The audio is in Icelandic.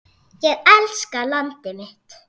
Ég elska landið mitt.